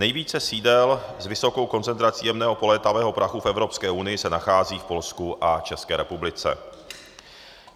Nejvíce sídel s vysokou koncentrací jemného polétavého prachu v Evropské unii se nachází v Polsku a České republice.